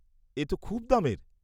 এ তো খুব দামের।